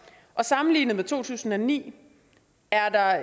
og sammenlignet med to tusind og ni er der